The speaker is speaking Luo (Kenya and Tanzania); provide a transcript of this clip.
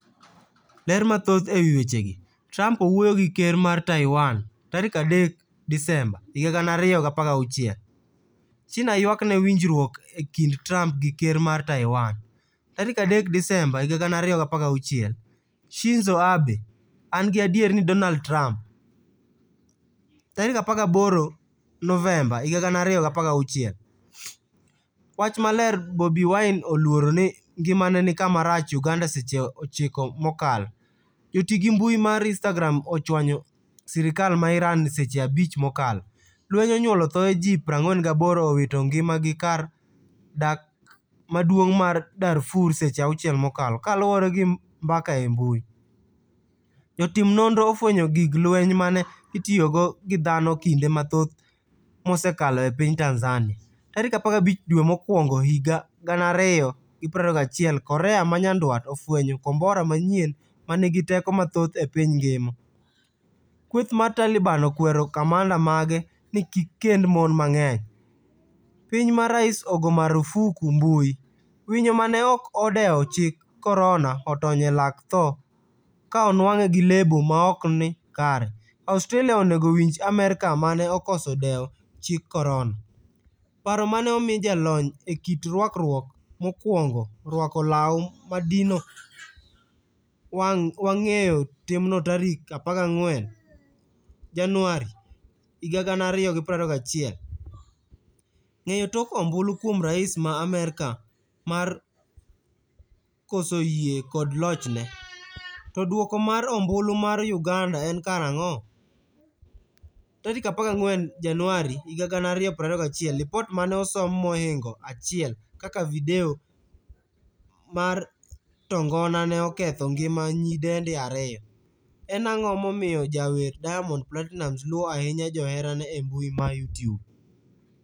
Ler mathoth e wi weche gi. Trump owuoyo gi ker mar Taiwan, 3 Disemba 2016 .China ywakne winjruok e kind Trump gi ker mar Taiwan, 3 Disemba 2016 .Shinzo Abe: An gi adier ni Donald Trump. 18 Novemba 2016 . Wach maler Bobi Wine oluoro ni ngimane ni kama rach' Uganda Seche 9 mokalo. Joti gi mbui mar Instagram ochwanyo sirkal ma Iran seche 5 mokalo. Lweny onyuolo thoe ji 48 owito ngima gi kar dak maduong' ma Darfur Seche 6 mokalo kaluore gi mbaka e mbui. Jotim nonro ofwenyo gig lweny mane itiyogo gi dhano kinde mathoth msekalo e piny Tanzania. Tarik 15 dwe mokwongohiga 2021 korea manyandwat ofwenyo kombora manyien manigi teko mathoth e piny ngima. Kweth mar Taliban okwero kamanda mage ni kikkend mon mang'eny. piny ma rais ogo marufuku mbui. Winyo mane ok odewo chik korona otony e lak tho ka onwang'e gi lebo maokni kare. Australia onego winj Amerka mane okoso dewo chik korona. paro mane omiyo jalony e kit rwakruok mokwongo rwako law madino wang' weyo timno tarik 14 januari 2021. Ng'eyo tok ombulu kuom rais ma Amerka mar koso yie kod lochne? To duoko mar ombulu mar uganda en karang'o?14 Januari 2021Lipot mane osom mohingo 1 kaka video mar tongona ne oketho ngima nyidendi 2. en ang'o momiyo jawer Diamond Platinumz luo ahinya joherane embui ma Youtube?